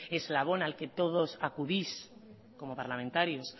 eslabón al que todos acudís como parlamentarios